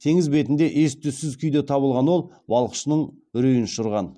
теңіз бетінде ес түссіз күйде табылған ол балықшының үрейін ұшырған